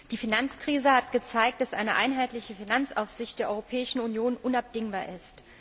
Die Finanzkrise hat gezeigt, dass eine einheitliche Finanzaufsicht der Europäischen Union unabdingbar ist.